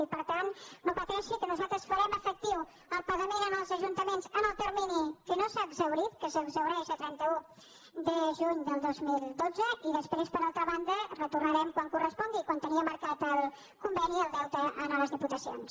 i per tant no pateixi que nosaltres farem efectiu el pagament als ajuntaments en el termini que no s’ha exhaurit que s’exhaureix a trenta un de juny del dos mil dotze i després per altra banda retor·narem quan correspongui quan tenia marcat el conve·ni el deute a les diputacions